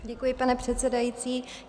Děkuji, pane předsedající.